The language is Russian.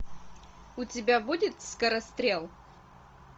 у тебя будет скорострел